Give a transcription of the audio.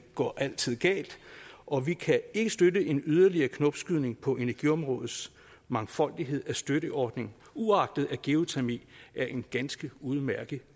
går altid galt og vi kan ikke støtte en yderligere knopskydning på energiområdets mangfoldighed af støtteordninger uagtet at geotermi er en ganske udmærket